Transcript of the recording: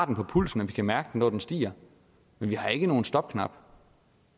på pulsen og vi kan mærke når den stiger men vi har ikke nogen stopknap